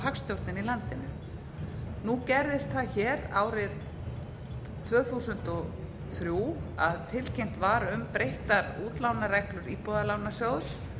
í landinu nú gerðist það hér árið tvö þúsund og þrjú að tilkynnt var um breyttar útlánareglur íbúðalánasjóðs